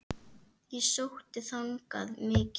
Og ég sótti þangað mikið.